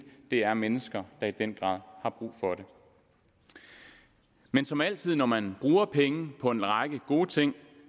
det er mennesker der i den grad har brug for det men som altid når man bruger penge på en række gode ting